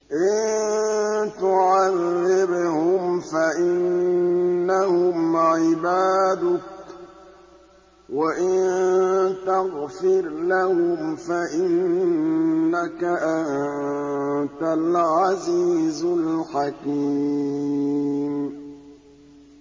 إِن تُعَذِّبْهُمْ فَإِنَّهُمْ عِبَادُكَ ۖ وَإِن تَغْفِرْ لَهُمْ فَإِنَّكَ أَنتَ الْعَزِيزُ الْحَكِيمُ